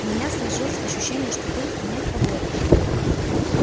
у меня сложилось ощущение что ты не в фаворе